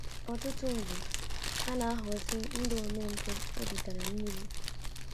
Ọtụtụ mgbe ha na- aghọzi ndị omempụ obi tara mmiri.